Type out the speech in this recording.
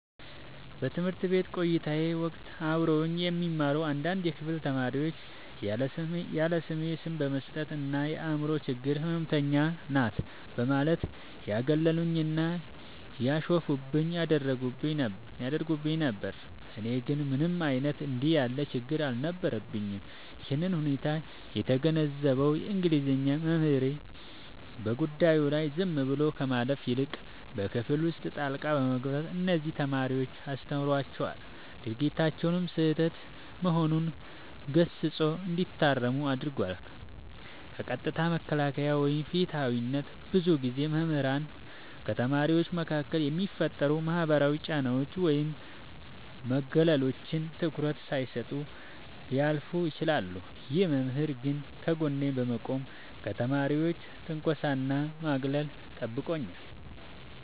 በትምህርት ቤት ቆይታዬ ወቅት አብረውኝ የሚማሩ አንዳንድ የክፍል ተማሪዎች ያለስሜ ስም በመስጠት እና "የአምሮ ችግር ህመምተኛ ናት" በማለት ያገሉኝና ያሾፉብኝ ያደርጉኝ ነበር። እኔ ግን ምንም አይነት እንዲህ ያለ ችግር አልነበረብኝም። ይህንን ሁኔታ የተገነዘበው የእንግሊዘኛ መምህሬ፣ በጉዳዩ ላይ ዝም ብሎ ከማለፍ ይልቅ በክፍል ውስጥ ጣልቃ በመግባት እነዚያን ተማሪዎች አስተምሯቸዋል፤ ድርጊታቸውም ስህተት መሆኑን ገስጾ እንዲታረሙ አድርጓል። ከጥቃት መከላከል እና ፍትሃዊነት፦ ብዙ ጊዜ መምህራን ከተማሪዎች መካከል የሚፈጠሩ ማህበራዊ ጫናዎችን ወይም መገለሎችን ትኩረት ሳይሰጡ ሊያልፉ ይችላሉ። ይህ መምህር ግን ከጎኔ በመቆም ከተማሪዎች ትንኮሳና ማግለል ጠብቆኛል።